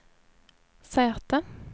säte